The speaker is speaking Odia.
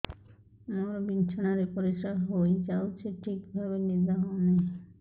ମୋର ବିଛଣାରେ ପରିସ୍ରା ହେଇଯାଉଛି ଠିକ ଭାବେ ନିଦ ହଉ ନାହିଁ